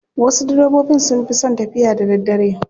Wasu direbobin sun fi son tafiya da daddare.